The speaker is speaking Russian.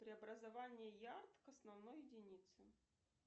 преобразование ярд к основной единице